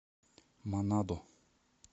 манадо